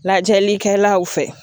Lajɛlikɛlaw fɛ